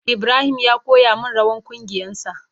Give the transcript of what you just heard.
Ibrahim ya koya min rawan kungiyan sa.